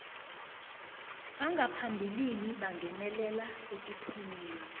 bangaphambilini kungenelela ekuthomeni